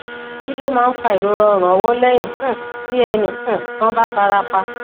kí ló máa ń fa ìrora orun ọwọ lẹyìn um tí ẹnì um kan bá fara pa